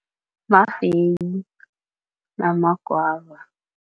Mafeyi nama-guava.